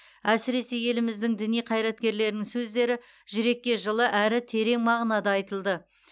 әсіресе еліміздің діни қайраткерлерінің сөздері жүрекке жылы әрі терең мағынада айтылды